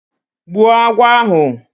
Gbuo agwọ ahụ